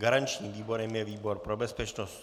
Garančním výborem je výbor pro bezpečnost.